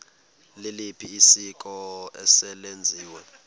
liliphi isiko eselenziwe